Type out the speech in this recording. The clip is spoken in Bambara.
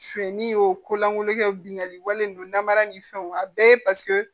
Suɲɛni y'o kolankolonkɛ binkali wale ninnu namara ni fɛnw a bɛɛ paseke